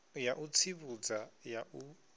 ya u tsivhudza ya u